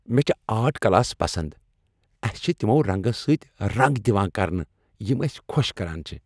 مےٚ چھ art class پسنٛد۔ اسہِ چھ تمو رنٛگو سۭتۍ رنٛگ دِوان کرنہٕ یِم أسۍ خۄش کران چِھ۔